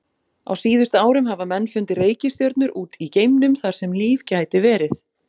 Á síðustu árum hafa menn fundið reikistjörnur út í geimnum þar sem líf gæti verið.